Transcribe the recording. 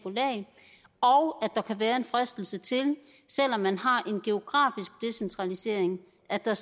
og at der kan være en fristelse til selv om man har en geografisk decentralisering at der